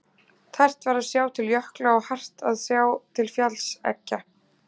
Tært var að sjá til jökla og hart að sjá til fjallseggja.